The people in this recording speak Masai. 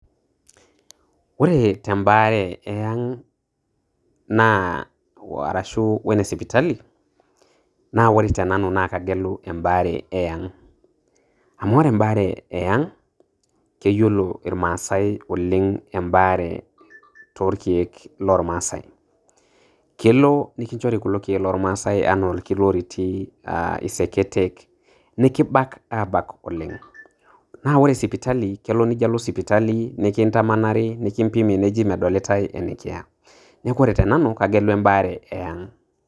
Ore tembaare eaaang naaa arashuu wenesipitali naa wore tenanu naa kagelu embaare eang amu ore embaare aaayaang keyiolo irmaasai embaare toorkiek lormaasai kelo nikinchori kulo kiek loormaase enaa orkiloriti aaa iseketen nikibak aabak oleng naa ore sipitali kelo nijio alo sipitali nikintamanari nikimbimi neji medolitai enekiya neeku ore tenanu kagelu embaare eyaang.